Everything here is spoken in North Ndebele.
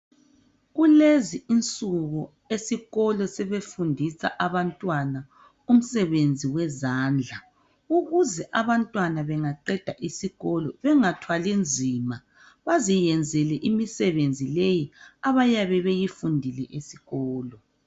Kulezi insuku esikolo sebefundisa abantwana umsebenzi wezandla, ukuze abantwana bengaqeda isikolo bengathwali nzima baziyenzele imisebenzi leyi abayabe beyifundile esikolo.